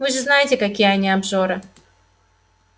вы же знаете какие они обжоры